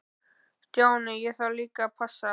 Stjáni, ég þarf líka að passa.